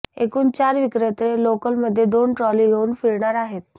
एकूण चार विक्रेते लोकलमध्ये दोन ट्रॉली घेऊन फिरणार आहेत